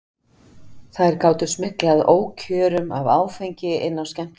Þær gátu smyglað ókjörum af áfengi inn á skemmtistaðina.